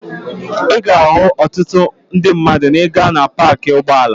Ị ga-ahụ ọtụtụ ndị mmadụ maa ị gaa na paakị ụgbọala..